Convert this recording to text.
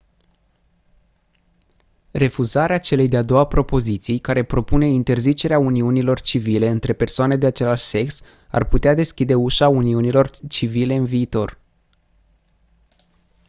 refuzarea celei de-a doua propoziții care propune interzicerea uniunilor civile între persoane de același sex ar putea deschide ușa uniunilor civile în viitor